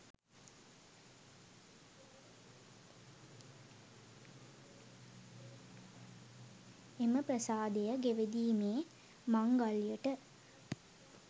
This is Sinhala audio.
එම ප්‍රාසාදය ගෙවදීමේ මංගල්‍යයට